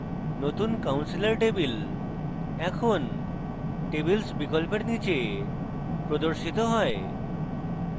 নতুন counselor table এখন tables বিকল্পের নীচে প্রদর্শিত হয়